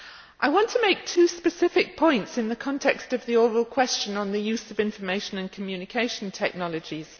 I want to make two specific points in the context of the oral question on the use of information and communication technologies.